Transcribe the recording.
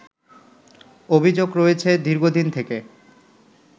অভিযোগ রয়েছে দীর্ঘদিন থেকে